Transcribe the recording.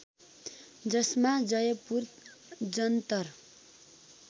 जसमा जयपुर जन्तर